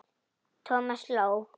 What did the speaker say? Thomas hló.